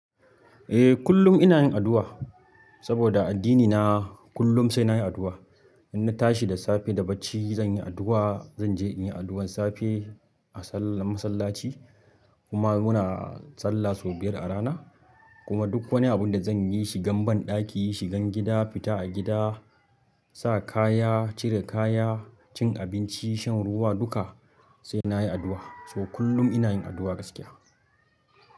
Eh kullum ina yin addu'a saboda addinina kullum sai na yi addu'a. Inna tashi da safe da bacci zan yi addu'a, zan je in yi addu'ar safe a sallan masallaci kuma muna sallah sau biyar a rana kuma duk wani abin da zanyi, shigan banɗaki, shigan gida, fita a gida, sa kaya, cire kaya, cin abinci, shan ruwa duka. Se nayi addu'a to kullum ina yin addu'a gaskiya.